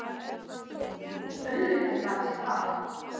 Jú, auðvitað gat ég það.